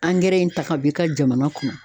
Angɛrɛ in ta ka bɔ i ka jamana kɔnɔ.